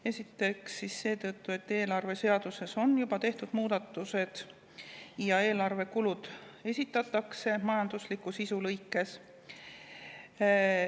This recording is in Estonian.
Esiteks seetõttu, et eelarveseaduses on juba tehtud muudatused ja eelarve kulud esitatakse majandusliku sisu lõikes.